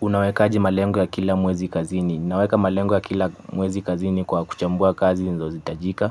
Unawekaji malengo ya kila mwezi kazini. Unaweka malengo ya kila mwezi kazini kwa kuchambua kazi ninazo zihitajika,